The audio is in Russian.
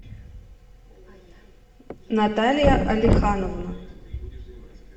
наталья алехановна